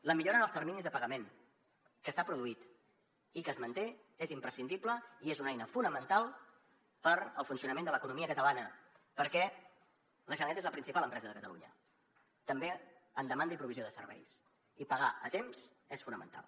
la millora en els terminis de pagament que s’ha produït i que es manté és imprescindible i és una eina fonamental per al funcionament de l’economia catalana perquè la generalitat és la principal empresa de catalunya també en demanda i provisió de serveis i pagar a temps és fonamental